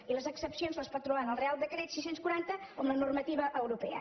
i les excepcions les pot trobar en el reial decret sis cents i quaranta o en la normativa europea